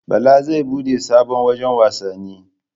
Bala zai bude sabon wajan wasanni